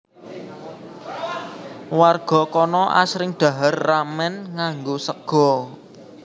Warga kana asring dhahar ramen nganggo sega